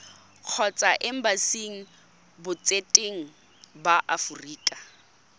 kgotsa embasing botseteng ba aforika